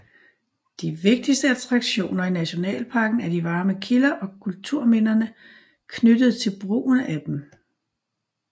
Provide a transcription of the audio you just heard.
De vigtigste attraktioner i nationalparken er de varme kilder og kulturminderne knyttet til brugen af dem